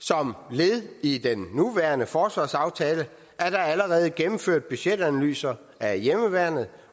som led i den nuværende forsvarsaftale er der allerede gennemført budgetanalyser af hjemmeværnet